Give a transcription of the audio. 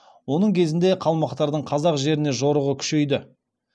оның кезінде қалмақтардың қазақ жеріне жорығы күшейді